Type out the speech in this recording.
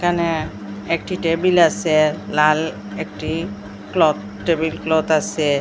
ন্যা একটি টেবিল আসে লাল একটি ক্লথ টেবিল ক্লথ আসে।